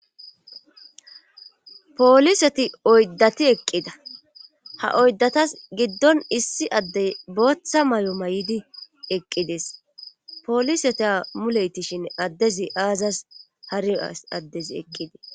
Pooliseti oyddati eqqida ha oyddatas giddon issi addey booththa may7o may7idi eqqides pooliseti a muleytishin addezi aazas hari addezi eqqidii.